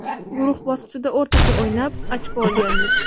Guruh bosqichida o‘rtacha o‘ynab, ochko olgandik.